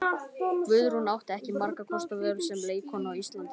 Guðrún átti ekki margra kosta völ sem leikkona á Íslandi.